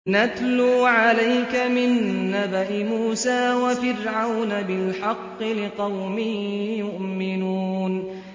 نَتْلُو عَلَيْكَ مِن نَّبَإِ مُوسَىٰ وَفِرْعَوْنَ بِالْحَقِّ لِقَوْمٍ يُؤْمِنُونَ